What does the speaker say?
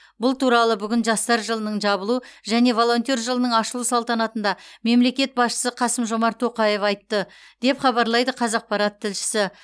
бұл туралы бүгін жастар жылының жабылу және волонтер жылының ашылу салтанатында мемлекет басшысы қасым жомарт тоқаев айтты деп хабарлайды қазақпарат тілшісі